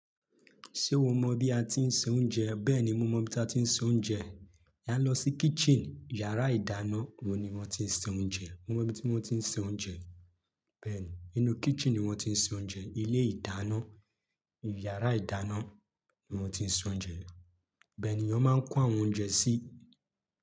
Ṣé o mọ bí a ti ń se oúnjẹ? Bẹ́ẹ̀ni mo mọ ibí ta ti ń se oúnjẹ. A ń lọ sí kitchen, yàrá ìdáná òún ni wọ́n ti ń se oúnjẹ. Mo mọ ibi tí wọ́n ti ń se oúnjẹ. Bẹ́ẹ̀ni inú kitchen ni wón ti ń se oúnjẹ. Ilé ìdáná, yàrá ìdáná ni wón ti ń se oúnjẹ. Ibẹ́ẹ̀ ni iyán máa ń kò àwọn oúnjẹ sí.